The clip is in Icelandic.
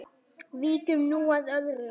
Víkjum nú að öðru.